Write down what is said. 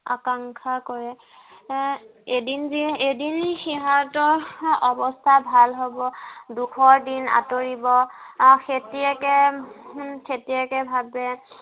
আকাংক্ষা কৰে। এৰ এদিন যে এদিন সিহঁতৰ অৱস্থা ভাল হ'ব। দুখৰ দিন আঁতৰিব। আহ খেতিয়েকে, উম খেতিয়েকে ভাৱে